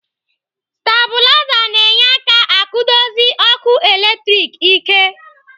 Stabulaza na-enye aka akwudosi ọkụ latrik ike.